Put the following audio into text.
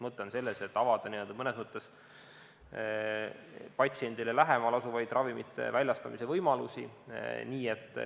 Mõte on selles, et tuleks avada mõnes mõttes patsiendile lähemal asuvaid ravimite väljastamise võimalusi.